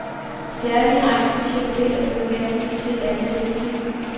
Særlige egnsspecialiteter blev henvist til et andet direktiv.